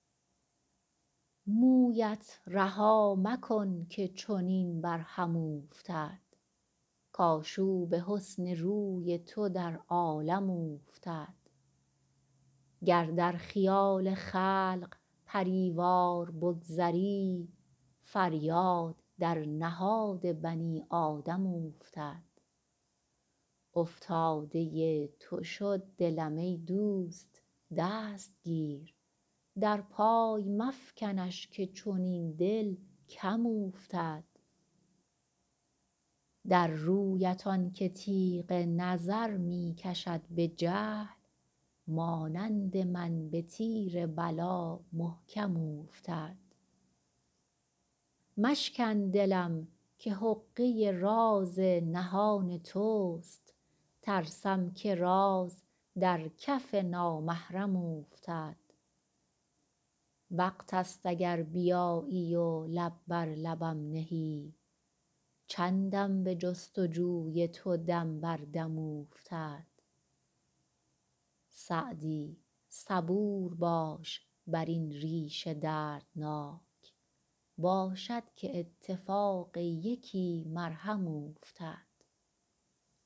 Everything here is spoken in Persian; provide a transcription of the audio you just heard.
مویت رها مکن که چنین بر هم اوفتد کآشوب حسن روی تو در عالم اوفتد گر در خیال خلق پری وار بگذری فریاد در نهاد بنی آدم اوفتد افتاده تو شد دلم ای دوست دست گیر در پای مفکنش که چنین دل کم اوفتد در رویت آن که تیغ نظر می کشد به جهل مانند من به تیر بلا محکم اوفتد مشکن دلم که حقه راز نهان توست ترسم که راز در کف نامحرم اوفتد وقت ست اگر بیایی و لب بر لبم نهی چندم به جست و جوی تو دم بر دم اوفتد سعدی صبور باش بر این ریش دردناک باشد که اتفاق یکی مرهم اوفتد